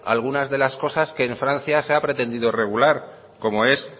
algunas de las cosas que en francia se ha pretendido regular como es